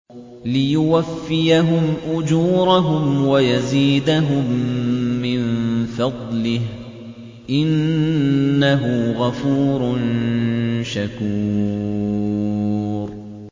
لِيُوَفِّيَهُمْ أُجُورَهُمْ وَيَزِيدَهُم مِّن فَضْلِهِ ۚ إِنَّهُ غَفُورٌ شَكُورٌ